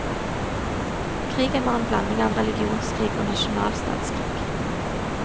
Krigen var en blanding av religionskrig og nasjonalstatskrig.